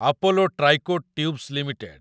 Apollo Tricoat tubes limited